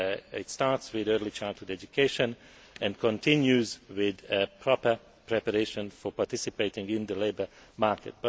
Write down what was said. It starts with early childhood education and continues with a proper preparation for participating in the labour market.